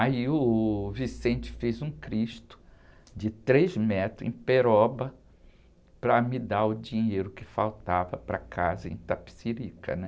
Aí uh, o fez um cristo de três metros em Peroba para me dar o dinheiro que faltava para a casa em Itapecerica, né?